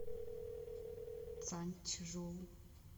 цанчжоу